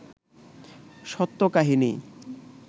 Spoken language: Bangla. সত্য কাহিনী